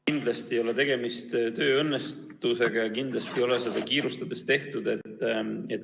Kindlasti ei ole tegemist tööõnnetusega ja kindlasti ei ole seda kiirustades tehtud.